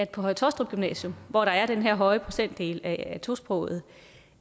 på høje taastrup gymnasium hvor der er den her høje procentdel af tosprogede